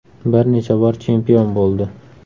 Bir necha bor chempion bo‘ldi.